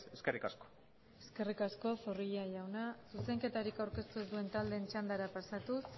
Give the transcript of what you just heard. eskerrik asko eskerrik asko zorrilla jauna zuzenketarik aurkeztu ez duen taldeen txandara pasatuz